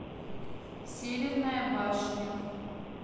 северная башня